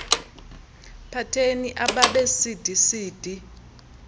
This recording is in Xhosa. pateni abab cdcd